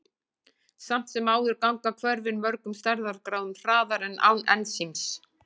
Samt sem áður ganga hvörfin mörgum stærðargráðum hraðar en án ensíms.